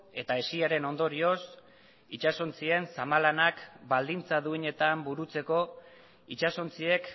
eta hesiaren ondorioz itsasontzien zama lanak baldintza duinetan burutzeko itsasontziek